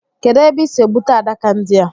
Kedụ ebe ị sị egbute adaka ndi a